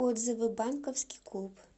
отзывы банковский клуб